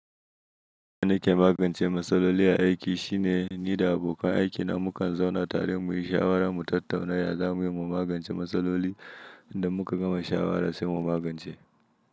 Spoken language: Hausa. Wani hanyar magance matsaloli a aiki shine ni da abokan aiki na mu kan zauna tare muyi shawara mu tattauna yadda za mu iya mu magance matsaloli da muka gama shawara sai mu magance.